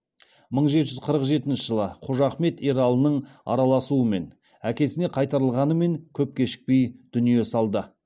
мың жеті жүз қырық жетінші жылы қожахмет ералының араласуымен әкесіне қайтарылғанымен көп кешікпей дүние салды